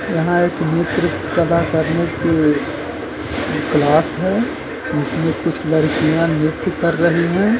यहाँ एक नृत्य कला करने की कलास है जिसमें कुछ लड़कियाँ नृत्य कर रही हैं।